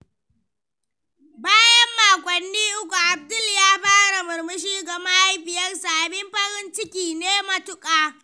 Bayan makonni uku, Abdul ya fara murmushi ga mahaifiyarsa, abin farin ciki ne matuka.